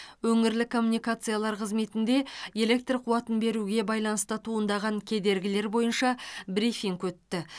өңірлік коммуникациялар қызметінде электр қуатын беруге байланысты туындаған кедергілер бойынша брифинг өтті